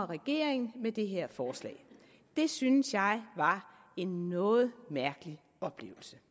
regeringen med det her forslag det synes jeg var en noget mærkelig oplevelse